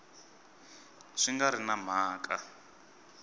swi nga ri na mhaka